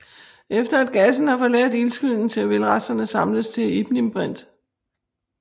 Efter at gassen har forladt ildskyen vil resterne samles til ignimbrit